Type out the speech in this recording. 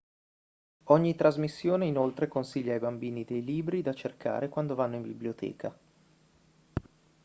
ogni trasmissione inoltre consiglia ai bambini dei libri da cercare quando vanno in biblioteca